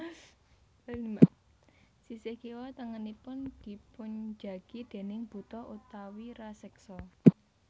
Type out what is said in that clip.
Sisih kiwa tengenipun dipunjagi déning buta utawi raseksa